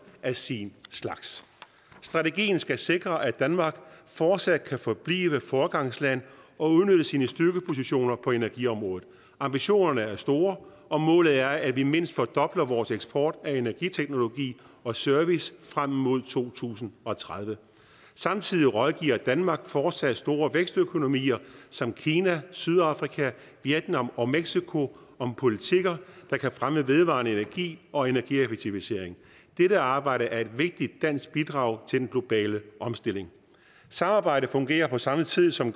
af sin slags strategien skal sikre at danmark fortsat forbliver et foregangsland og udnytter sine styrkepositioner på energiområdet ambitionerne er store og målet er at vi mindst fordobler vores eksport af energiteknologi og service frem mod to tusind og tredive samtidig rådgiver danmark fortsat store vækstøkonomier som kina sydafrika vietnam og mexico om politikker der kan fremme vedvarende energi og energieffektivisering dette arbejde er et vigtigt dansk bidrag til den globale omstilling samarbejdet fungerer på samme tid som